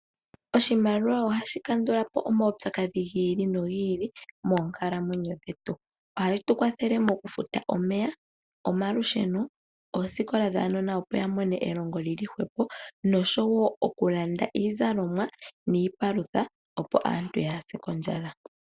Oshimaliwa ohashi kandula po omaupyakadhi gi ili nogi ili moonkalamwenyo dhetu. Ohashi tu kwathele mokufuta omeya, omalusheno, oosikola dhaanona opo ya mone elongo li li hwepo noshowo okulanda iizalomwa niipalutha, opo aantu ka ya se kondjala.